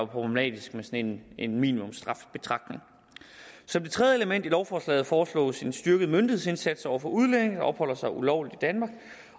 problematisk med sådan en minimumsstrafbetragtning som det tredje element i lovforslaget foreslås en styrket myndighedsindsats over for udlændinge der opholder sig ulovligt i danmark